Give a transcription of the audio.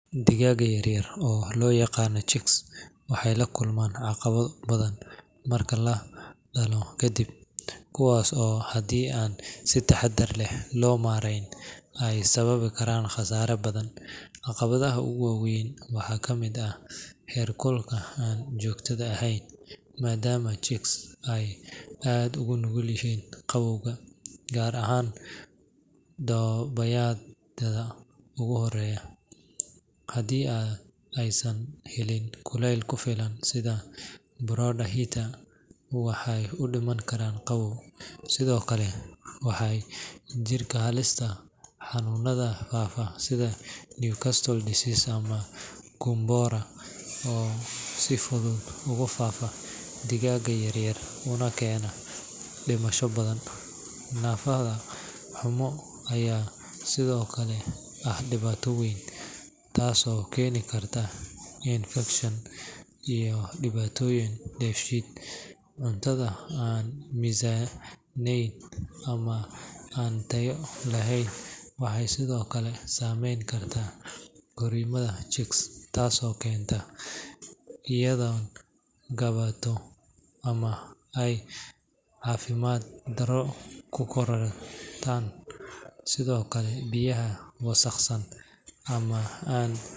Digaagga yaryar ee loo yaqaan chicks waxay la kulmaan caqabado badan marka la dhalo kadib, kuwaas oo haddii aan si taxadar leh loo maareyn ay sababi kara khasaare badan. Caqabadaha ugu waaweyn waxaa ka mid ah heerkulka aan joogtada ahayn, maadaama chicks ay aad ugu nugul yihiin qabowga, gaar ahaan toddobaadyada ugu horreeya. Haddii aysan helin kulayl ku filan sida brooder heater, waxay u dhiman karaan qabow. Sidoo kale, waxaa jirta halista xanuunada faafa sida Newcastle disease ama Gumboro oo si fudud ugu faafa digaagga yaryar una keena dhimasho baahsan. Nadaafad xumo ayaa sidoo kale ah dhibaato weyn, taasoo keeni karta infakshan iyo dhibaatooyin dheefshiid. Cuntada aan miisaamanayn ama aan tayo lahayn waxay sidoo kale saameyn kartaa korriimada chicks taasoo keenta inay gaabato ama ay caafimaad darro ku korodaan. Sidoo kale, biyaha wasakhaysan ama aan.